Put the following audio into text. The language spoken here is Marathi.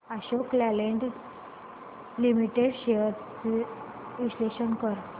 अशोक लेलँड लिमिटेड शेअर्स चे विश्लेषण कर